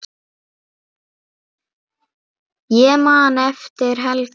Ég man eftir Helga.